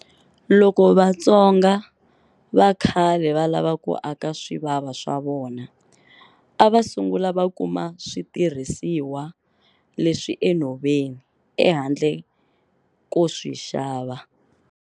Loko Vatsonga va khale va lava ku aka swivava swa vona a va sungula va kuma switirhisiwa leswi enhoveni ehandle ko swi xava.